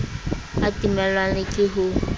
a timellwang le ke ho